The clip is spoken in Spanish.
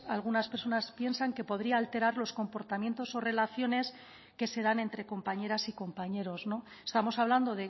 algunas personas piensan que podría alterar los comportamientos o relaciones que se dan entre compañeras y compañeros estamos hablando